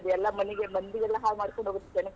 ಎಲ್ಲಾ ಮನಿಗೆ ಮಂದಿ ಎಲ್ಲಾ ಹಾಳುಮಾಡ್ಕೊಂಡ್ ಹೊಗತ್ ಜನಕೆಲ್ಲ.